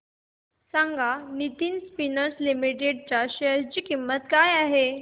सांगा Nitin spinners limited च्या share ची किंमत काय आहे